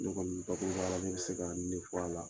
Ne kɔni rajo bɛ se ka nin de fɔ a la